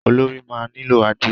Olorì máa nílò adé.